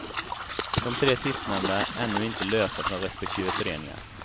Dom tre sistnämnda är ännu inte lösta från respektive föreningar.